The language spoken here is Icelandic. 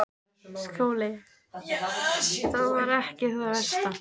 SKÚLI: Það var ekki það versta.